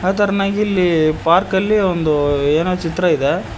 ಅ ತೇರನಾಗಿ ಇಲ್ಲಿ ಪಾರ್ಕ ಲ್ಲಿ ಒಂದು ಏನೋ ಚಿತ್ರ ಇದೆ.